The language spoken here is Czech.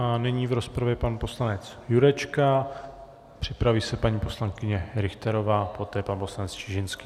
A nyní v rozpravě pan poslanec Jurečka, připraví se paní poslankyně Richterová, poté pan poslanec Čižinský.